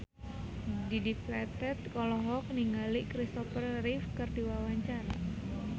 Dedi Petet olohok ningali Christopher Reeve keur diwawancara